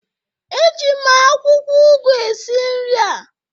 Eji m akwụkwọ ugu esi esi nri